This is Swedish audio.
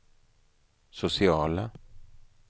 sociala